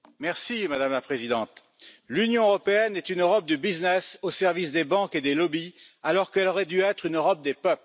Madame la Présidente, l'Union européenne est une Europe du business au service des banques et des lobbies, alors qu'elle aurait dû être une Europe des peuples.